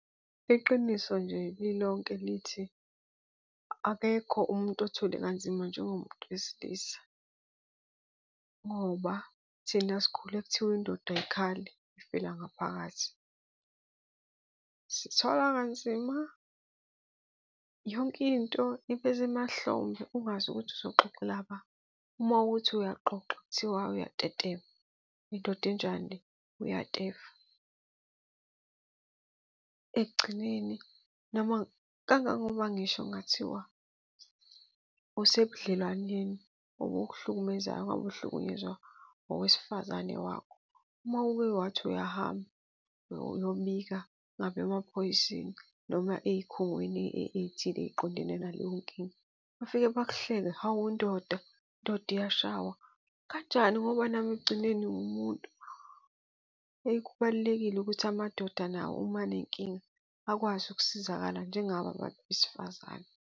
Iqiniso nje lilonke lithi, akekho umuntu othwele kanzima njengomuntu wesilisa ngoba thina sikhule kuthiwa indoda ayikhali, ifela ngaphakathi. Sithwala kanzima, yonke into ibe semahlombe ungazi ukuthi uzoxoxela ba. Uma uthi uyaxoxa, kuthiwa uyatetema, uyindoda enjani le, uyatefa. Ekugcineni noma kangangokuba ngisho kungathiwa usebudlelwaneni, obukuhlukumezayo, ngabe uhlukunyezwa owesifazane wakho. Uma uke wathi uyahamba, uyobika ngabe emaphoyiseni noma ey'khungweni ey'thile ey'qondene naleyo nkinga. Bafike bakuhleke, hawu ndoda, indoda iyashaywa, kanjani ngoba nami ekugcineni nguwumuntu. Heyi, kubalulekile ukuthi amadoda nawo uma anenkinga akwazi ukusizakala njengabo abantu besifazane.